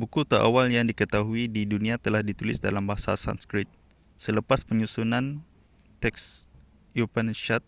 buku terawal yang diketahui di dunia telah ditulis dalam bahasa sanskrit selepas penyusunan teks upanishad